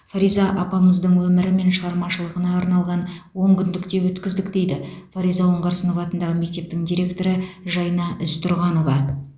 фариза апамыздың өмірі мен шығармашылығына арналған он күндік те өткіздік дейді фариза оңғарсынова атындағы мектептің директоры жайна ізтұрғанова